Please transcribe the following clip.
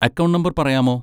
Account number പറയാമോ?